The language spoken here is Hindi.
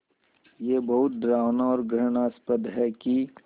ये बहुत डरावना और घृणास्पद है कि